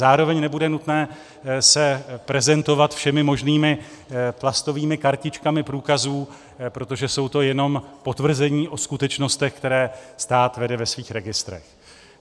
Zároveň nebude nutné se prezentovat všemi možnými plastovými kartičkami průkazů, protože jsou to jenom potvrzení o skutečnostech, které stát vede ve svých registrech.